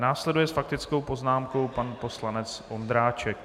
Následuje s faktickou poznámkou pan poslanec Ondráček.